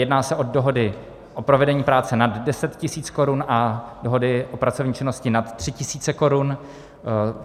Jedná se o dohody o provedení práce nad 10 tisíc korun a dohody o pracovní činnosti nad 3 tisíce korun.